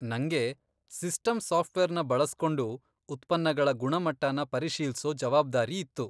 ನಂಗೆ ಸಿಸ್ಟಮ್ ಸಾಫ್ಟ್ವೇರ್ನ ಬಳಸ್ಕೊಂಡು ಉತ್ಪನ್ನಗಳ ಗುಣಮಟ್ಟನ ಪರಿಶೀಲ್ಸೋ ಜವಾಬ್ದಾರಿ ಇತ್ತು.